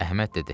Əhməd dedi: